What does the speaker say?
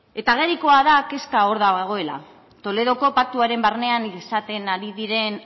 eta agerikoa da kezka hor dagoela toledoko paktuaren barnean izaten ari diren